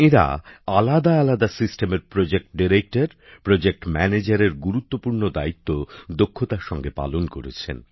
এঁরা আলাদা আলাদা সিস্টেমের প্রজেক্ট ডাইরেক্টর প্রজেক্ট ম্যানেজারের গুরুত্বপূর্ণ দায়িত্ব দক্ষতার সঙ্গে পালন করেছেন